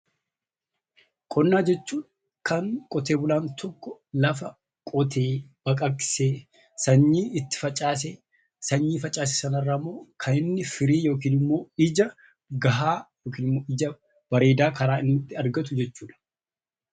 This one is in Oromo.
Qonnaa jechuun kan qonnaan bulaan tokko lafa qotee, baqaqsee, sanyii itti facaasee, sanyii facaase sana irraa immoo firii yookiin immoo ija gahaa yookiin immoo ija bareedaa karaa inni itti argatu jechuu dha.